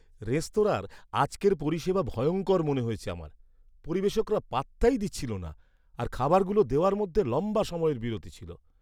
রেস্তোরাঁর আজকের পরিষেবা ভয়ঙ্কর মনে হয়েছে আমার। পরিবেশকরা পাত্তাই দিচ্ছিল না, আর খাবারগুলো দেওয়ার মধ্যে লম্বা সময়ের বিরতি ছিল।